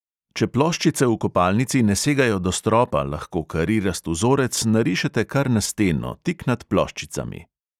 Če ploščice v kopalnici ne segajo do stropa, lahko karirast vzorec narišete kar na steno, tik nad ploščicami.